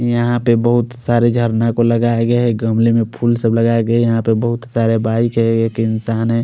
यहाँ पर बोहोत सारे झरने भी लगाया गया है गमले में फूल सब लगाये गये है यहाँ पर बोहोत सारे इंसान है।